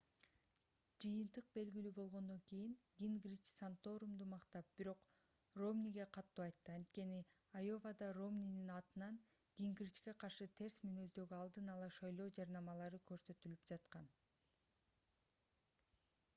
жыйынтык белгилүү болгондон кийин гингрич санторумду мактап бирок ромниге катуу айтты анткени айовада ромнинин атынан гингричке каршы терс мүнөздөгү алдын ала шайлоо жарнамалары көрсөтүлүп жаткан